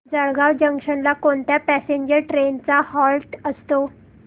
Jalgaon junction ला कोणत्या passenger trains चा हॉल्ट असतो